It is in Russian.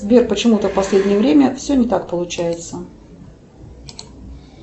сбер почему то в последнее время все не так получается